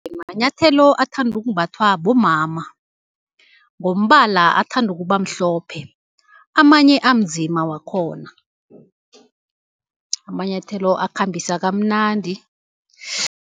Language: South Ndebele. Manyathelo athandwa ukumbathwa bomama, ngombala athanda ukuba mhlophe, amanye anzima wakhona, amanyathelo akhambisa kamnandi.